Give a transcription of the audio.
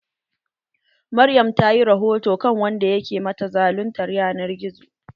Maryam ta yi rahoto kan wanda ke mata zaluntar ƴanar gizo.